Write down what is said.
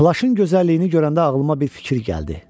Plaşın gözəlliyini görəndə ağlıma bir fikir gəldi.